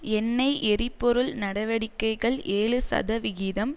எண்ணெய் எரிபொருள் நடவடிக்கைகள் ஏழு சதவிகிதம்